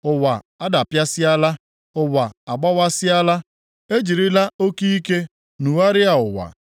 Ụwa adapịasịala; ụwa agbawasịala; e jirila oke ike nugharịa ụwa.